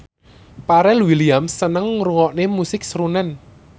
Pharrell Williams seneng ngrungokne musik srunen